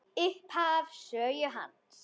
Upphaf sögu hans.